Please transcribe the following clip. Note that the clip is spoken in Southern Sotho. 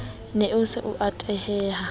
ne a se a tenehela